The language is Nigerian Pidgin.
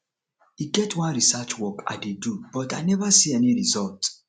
e get one research work i dey do but i never see any result